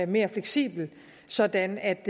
mere fleksibel sådan at